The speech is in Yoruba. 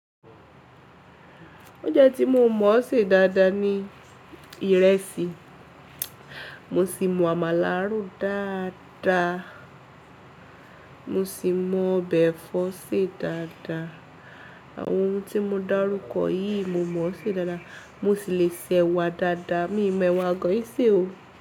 O jẹ́ tí mo mọ̀ ọ́ ṣe dáadáa ni ìrẹsì, mo sì mọ àmàlà rún dáadáa, mo sì mọ ọbẹ̀ ẹ̀fọ́ ṣe dáadáa. Àwọn ohun tí mo dárúkọ yìí mo mọ̀ ọ́ ṣe dáadáa, mo sì le se ẹ̀wà dáadáa, mí mọ ẹ̀wà gan yì ṣẹ́ o.